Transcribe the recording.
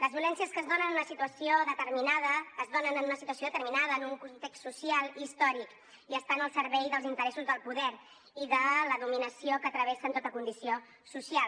les violències que es donen en una situació determinada es donen en una situació determinada en un context social i històric i estan al servei dels interessos del poder i de la dominació que travessen tota condició social